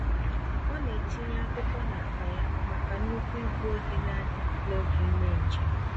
Ọ na-etinye akwụkwọ n'akpa ya maka nnukwu igbu oge n'adị n'oge ímé njem.